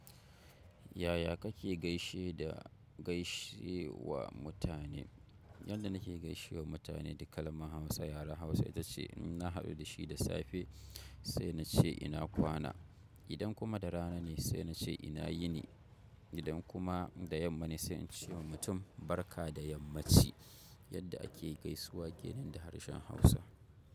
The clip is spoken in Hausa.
Yaya kake gaishe da gaishe wa mutane? Yadda nake gaishe wa mutane da kalmar Hausa yaren Hausa ita ce in na haɗu da shi da safe sai na ce ina kwana. Idan kuma da rana ne sai na ce ina yini. Idan kuma da yamma ne sai in ce wa mutum barka da yammaci. Yadda ake gaisuwa ke nan da harshen Hausa.